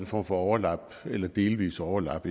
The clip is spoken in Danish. form for overlap eller delvist overlap